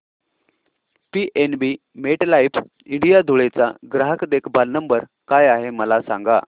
PNB MetLife India Dhule चा ग्राहक देखभाल नंबर काय आहे मला सांगा